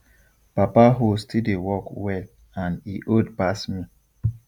papa hoe still dey work well and e old pass me